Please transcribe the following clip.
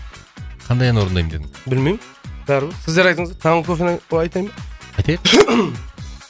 қандай ән орындаймын дедің білмеймін бәрібір сіздер айтыңыздар таңғы кофені айтайын ба айтайық